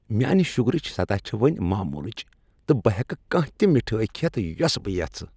میانہ شوٚگرٕچ سطح چھےٚ وۄنۍ معمولچ تہٕ بہٕ ہیکہٕ کانٛہہ تہِ مِٹھٲیۍ كھیتھ یۄسہٕ بہٕ یژھہٕ ۔